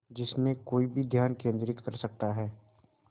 जिसमें कोई भी ध्यान केंद्रित कर सकता है